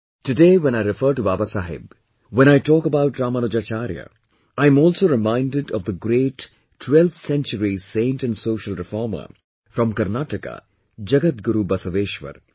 Today when I refer to Babasaheb, when I talk about Ramanujacharya, I'm also reminded of the great 12th century saint & social reformer from Karnataka Jagat Guru Basaveshwar